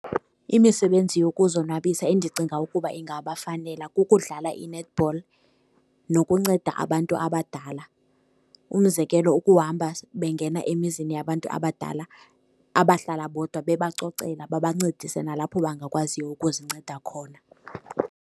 Imisebenzi yokuzonwabisa endicinga ukuba ingabafanela kukudlala i-netball nokunceda abantu abadala. Umzekelo, ukuhamba bengena emizini yabantu abadala abahlala bodwa bebacocela, babancedise nalapho bangakwaziyo ukuzinceda khona.